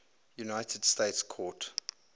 united states court